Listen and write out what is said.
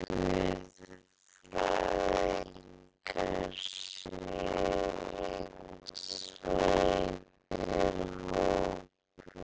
guðfræðingar séu einsleitur hópur.